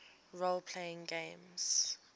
role playing games